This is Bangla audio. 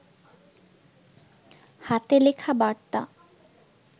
হাতে লেখা বার্তা